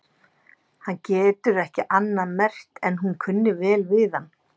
Hann getur ekki annað merkt en hún kunni vel við hann.